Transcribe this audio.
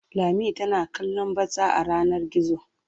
Lami tana kallon batsa a yanar gizo.